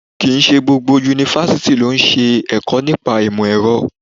Kì ń ṣe gbogbo Yunifásítì lọ ń ṣẹ ẹ̀kọ́ nípa ìmò èrọ.